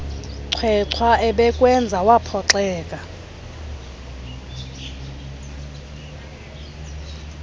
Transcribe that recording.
chwechwa ebekwenza waphoxeka